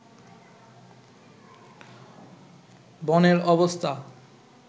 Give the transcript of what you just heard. বনের অবস্থা